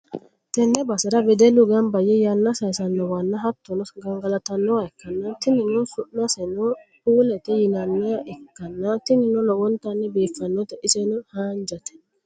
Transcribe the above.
tenne basera wedellu gamba yee yanna sayiisannowanna hattono, gangalatannowa ikkanna, tinino su'maseno puulete yinanniha ikkanna, tinino lowontanni biiffannote. iseno hanjate.